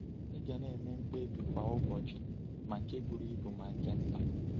Ị ga na-eme mkpebi kwa ụbọchị, ma nke buru ibu ma nke nta.